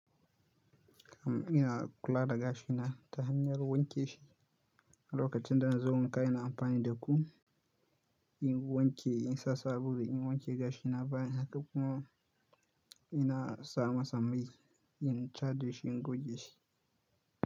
Ina kula da gashina ta hanyar wanke shi. Lokacin da na zo wanka ina amfani da kum in wanke, in sa sabulu in wanke gashina baya haka kuma ina sa masa mai in tare shi, in goge shi.